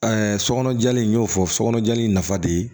sɔkɔnɔ jali in n'o fɔ sokɔnɔ jali in nafa de ye